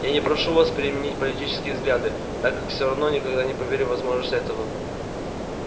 я не прошу вас переменить политические взгляды так как все равно никогда не поверю в возможность этого